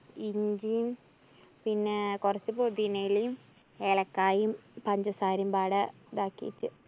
ഇഞ്ചിയും, പിന്നെ കൊറച്ച് പൊതിനയിലയും, ഏലക്കായി, പഞ്ചസാരേം ബാടെ ഇതാക്കിട്ട്.